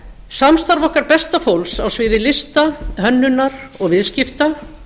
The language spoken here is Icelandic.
samstarf okkar besta fólks á sviði lista hönnunar og viðskipta